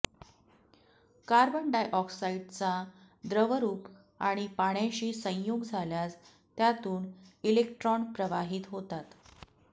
carbon डायऑक्साइडचा द्रवरूप आणि पाण्याशी संयोग झाल्यास त्यातून इलेक्ट्रॉन प्रवाहित होतात